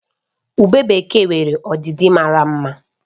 Ubé bekee nwere ọdịdị mara mma